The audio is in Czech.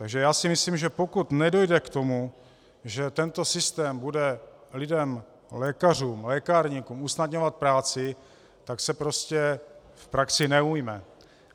Takže já si myslím, že pokud nedojde k tomu, že tento systém bude lidem, lékařům, lékárníkům usnadňovat práci, tak se prostě v praxi neujme.